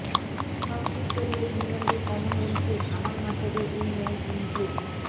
সব ঠিক চললে ইংল্যান্ডে কমনওয়েলথে ধামাল মাচাবে উইমেন ইন ব্লু